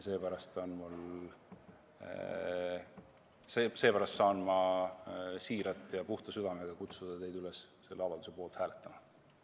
Seepärast saan ma siiralt ja puhta südamega kutsuda teid üles selle avalduse poolt hääletama.